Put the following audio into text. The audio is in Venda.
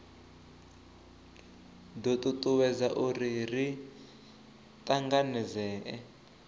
do tutuwedza uri ri tanganedzee